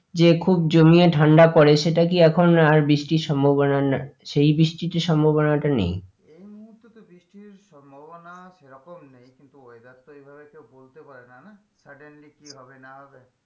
যে খুব জমিয়ে ঠান্ডা পরে সেটা কি এখন আর বৃষ্টির সম্ভাবনা সেই বৃষ্টির যে সম্ভাবনাটা নেই? মুহূর্তে তো বৃষ্টির সম্ভাবনা সে রকম নেই কিন্তু weather তো এভাবে কেউ বলতে পারেনা না suddenly কি হবে না হবে?